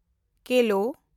ᱠᱮᱞᱳ